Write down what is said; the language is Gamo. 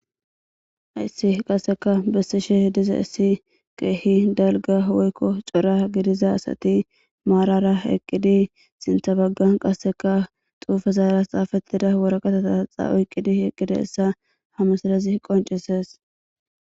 hayssi qasseka bessishe diza issi keehi dalga woykko cora gidiza asati maarara eqqidi sinthabaggan qasseka xuufa zaaras xaafettida worakatotahaxa oyqqidi eqqidi hissa hamasidazi qoncises